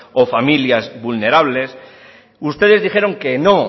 o familias vulnerables ustedes dijeron que no